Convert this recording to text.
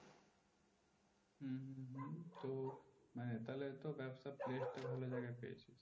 তো মানে তাহলে ব্যবসা place ভালো জায়গা পেয়েছি